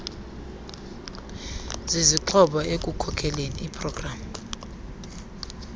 zizixhobo ekukhokeleni igpg